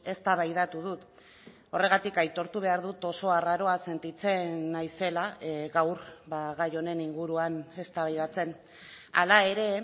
eztabaidatu dut horregatik aitortu behar dut oso arraroa sentitzen naizela gaur gai honen inguruan eztabaidatzen hala ere